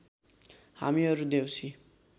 हामीहरू देउसी